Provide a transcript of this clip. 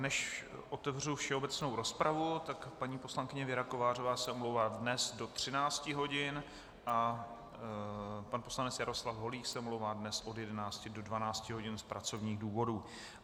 Než otevřu všeobecnou rozpravu, tak paní poslankyně Věra Kovářová se omlouvá dnes do 13 hodin a pan poslanec Jaroslav Holík se omlouvá dnes od 11 do 12 hodin z pracovních důvodů.